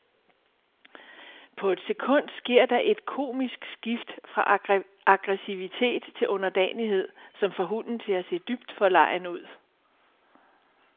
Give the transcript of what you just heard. På et sekund sker der et komisk skift fra aggressivitet til underdanighed, som får hunden til at se dybt forlegen ud.